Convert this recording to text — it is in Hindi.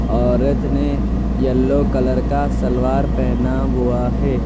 औरत ने येलो कलर का सलवार पेहना हुआ है।